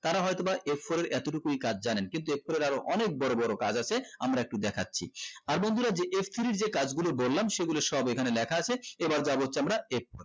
তারা হয়তো বা f four এর এতটুকু কাজ জানেন কিন্তু f four এর আরো অনেক বোরো বোরো কাজ আছে আমরা একটু দেখছি আর বন্ধুরা যে f three যে কাজ গুলো বললাম সেগুলো সব ওখানে লেখা আছে এবার যাবো হচ্ছে আমরা f